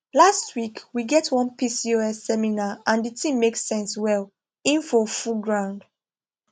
last week we get one pcos seminar and the thing make sense well info full ground